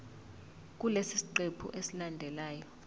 kulesi siqephu esilandelayo